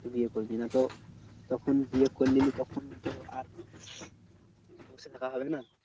বিয়ে করবি। না তো তখন বিয়ে করে নিলি তখন তো আর বসে থাকা হবে না?